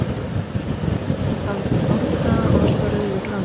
Hann var sköllóttur með dálítinn hárkraga og alltaf rauður í framan.